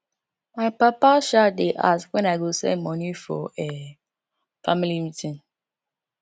my papa um dey ask when i go send money for um family meeting